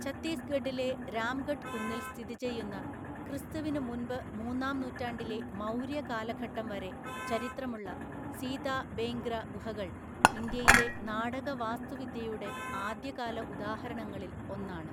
ഛത്തീസ്ഗഡിലെ രാംഗഢ് കുന്നിൽ സ്ഥിതിചെയ്യുന്ന ക്രിസ്തുവിനു മുന്‍പ് മൂന്നാം നൂറ്റാണ്ടിലെ മൗര്യ കാലഘട്ടം വരെ ചരിത്രമുള്ള സീതാബേങ്ഗ്ര ഗുഹകൾ ഇന്ത്യയിലെ നാടക വാസ്തുവിദ്യയുടെ ആദ്യകാല ഉദാഹരണങ്ങളിൽ ഒന്നാണ്.